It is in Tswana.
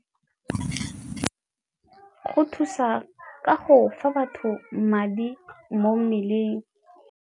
Go thusa ka go fa batho madi mo mmeleng.